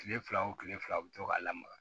Kile fila o kile fila u be to ka lamaga